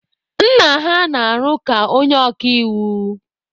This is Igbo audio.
Nna ha na-arụ ka onye oka iwu.